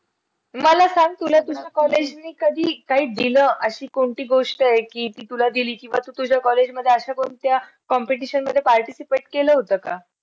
ठेवलं ना थोडंसं वाफेवर ते येऊन जातात त्याच्यानंतर तीन sittia घ्यायचा तीन शिट्या झाल्यावर बंद करून टाकायचं .